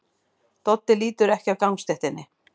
Doddi lítur ekki af gangstéttinni.